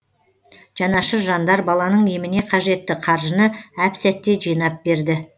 жанашыр жандар баланың еміне қажетті қаржыны әп сәтте жинап берді